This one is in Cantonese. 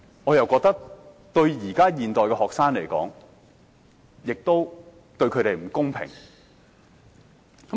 我覺得這對現代的學生並不公平。